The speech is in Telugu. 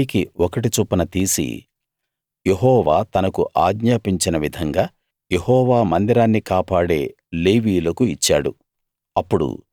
50 కి ఒకటి చొప్పున తీసి యెహోవా తనకు ఆజ్ఞాపించిన విధంగా యెహోవా మందిరాన్ని కాపాడే లేవీయులకు ఇచ్చాడు